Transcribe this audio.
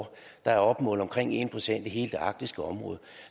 der er opmålt omkring en procent af hele det arktiske område